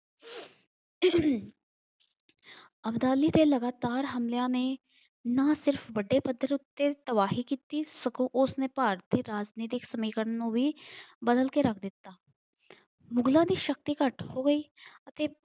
ਅਬਦਾਲੀ ਦੇ ਲਗਾਤਾਰ ਹਮਲਿਆਂ ਨੇ ਨਾ ਸਿਰਫ ਵੱਡੇ ਪੱਧਰ ਉੱਤੇ ਤਬਾਹੀ ਕੀਤੀ ਸਗੋਂ ਉਸਨੇ ਭਾਰਤ ਦੇ ਰਾਜਨੀਤਿਕ ਸਮੀਕਰਣ ਨੂੰ ਵੀ ਬਦਲ ਕੇ ਰੱਖ ਦਿੱਤਾ। ਮੁਗ਼ਲਾਂ ਦੀ ਸ਼ਕਤੀ ਘੱਟ ਹੋ ਗਈ ਅਤੇ